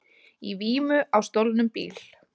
Í vímu á stolnum bíl